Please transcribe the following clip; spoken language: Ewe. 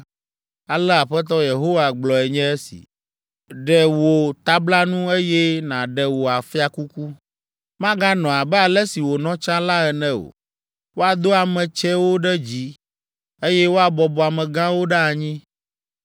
ale Aƒetɔ Yehowa gblɔe nye si. Ɖe wò tablanu, eye nàɖe wò fiakuku. Maganɔ abe ale si wònɔ tsã la ene o: woado ame tsɛwo ɖe dzi, eye woabɔbɔ amegãwo ɖe anyi.